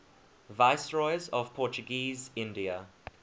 viceroys of portuguese india